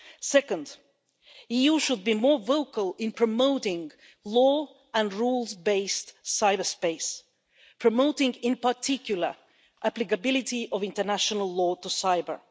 Secondly, the EU should be more vocal in promoting law and rules based cyberspace, promoting, in particular, the applicability of international law to cyber.